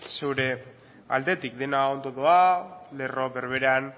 zure aldetik dena ondo doa lerro berberean